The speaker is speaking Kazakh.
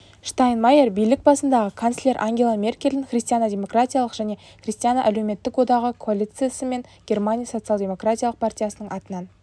штайнмайер билік басындағы канцлер ангела меркельдің христиано-демократиялық және христиано-әлеуметтік одағы коалициясы мен германия социал-демократиялық партиясының атынан